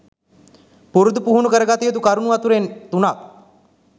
පුරුදු පුහුණු කරගත යුතු කරුණු අතරෙන් තුනක්